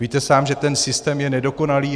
Víte sám, že ten systém je nedokonalý.